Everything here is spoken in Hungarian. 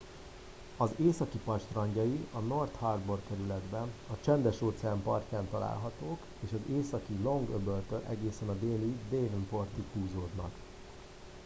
az északi part strandjai a north harbour kerületben a csendes-óceán partján találhatók és az északi long-öböltől egészen a déli devonportig húzódnak